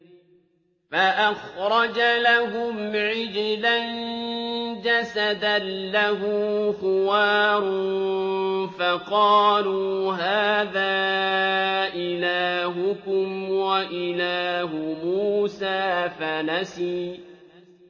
فَأَخْرَجَ لَهُمْ عِجْلًا جَسَدًا لَّهُ خُوَارٌ فَقَالُوا هَٰذَا إِلَٰهُكُمْ وَإِلَٰهُ مُوسَىٰ فَنَسِيَ